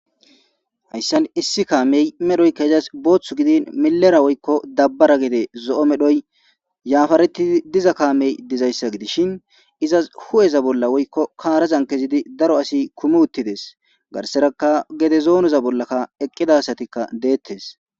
Hayssan issi kaamey medhoykka izas boothth gidin milera woykko dabbara gede zo7o medhoy yaafareti diza kaamey dizayssa gidishin izas hu7eza bolla woykko kaarazan kezidi daro asi kumi uttides garseraka gede zoonoza bollakka eqqidasatikka deettes.